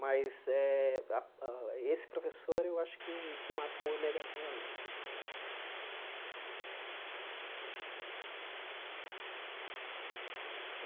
Mas eh a a esse professor eu acho que marcou negativamente né.